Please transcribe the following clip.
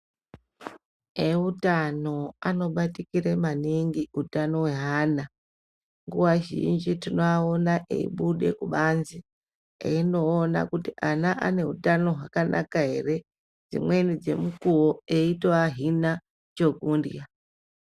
Eutano anobatikire maningi utano hweana nguwa zhinji tinovaona eibude kubanze eiona kuti ana ane utano hwakanaka ere dzimweni dzemukuwo eitoahina chekundya.